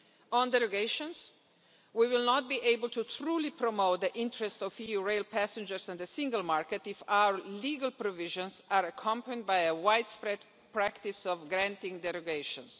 On derogations, we will not be able to truly promote the interests of EU rail passengers and the single market if our legal provisions are accompanied by a widespread practice of granting derogations.